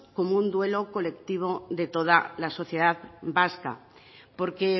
como un duelo colectivo de toda la sociedad vasca porque